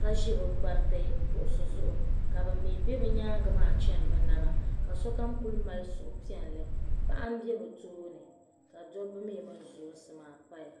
ka ʒe bɛ gbariti kuɣusi zuɣu ka ban mi be bɛ nyaaŋa chɛni bɛ naba paɣa m be bɛ tooni ka dabba mi mini zɔnsi maa paya